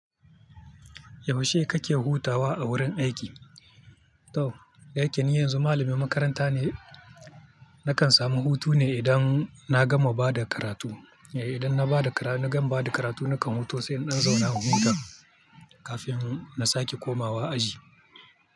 Yaushe kake hutawa a wurin aiki? To, dayake ni yanzu malamin makaranta ne. Nakan samu hutu ne idan na gama ba da karatu. Idan na ba da karatu, na gama ba da karatu nakan huta sai in zauna hutu kafin na sake komawa aji.